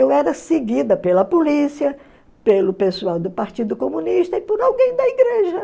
Eu era seguida pela polícia, pelo pessoal do Partido Comunista e por alguém da igreja.